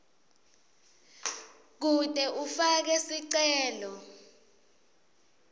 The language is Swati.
kute ufake sicelo